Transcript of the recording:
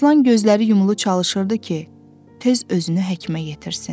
Aslan gözləri yumulu çalışırdı ki, tez özünü həkimə yetirsin.